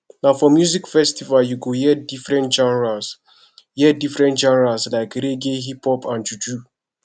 na for music festival you go hear different genres hear different genres like reggae hiphop and juju